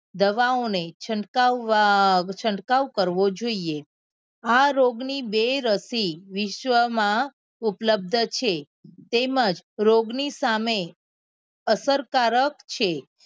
દવા ઓ ને છંટકાવવ છંટકાવ કરવો જોઈએ આ રોગ ની બે રસી વિશ્વ માં ઉપલબ્ધ છે તેમજ રોગ ની સામે અસરકારક છે.